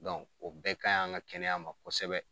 o bɛɛ ka ɲi an ka kɛnɛya ma kosɛbɛ.